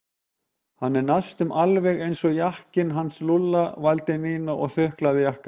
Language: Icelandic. Hann er næstum alveg eins og jakkinn hans Lúlla vældi Nína og þuklaði jakkann.